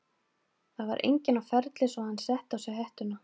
Það var enginn á ferli svo að hann setti á sig hettuna.